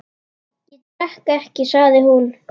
Ég drekk ekki, sagði hún.